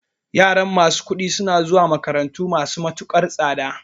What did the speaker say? Yaran masu kuɗi suna zuwa makarantu masu matukar tsada